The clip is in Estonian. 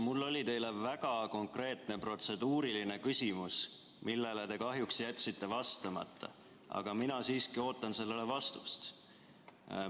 Mul oli teile väga konkreetne protseduuriline küsimus, millele te kahjuks jätsite vastamata, aga mina siiski ootan sellele vastust.